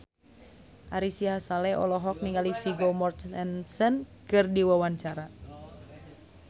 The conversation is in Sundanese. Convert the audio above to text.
Ari Sihasale olohok ningali Vigo Mortensen keur diwawancara